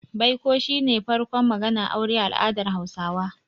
Baiko shi ne farkon maganar aure a al'adar Hausawa.